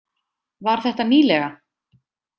Var þetta nýlega?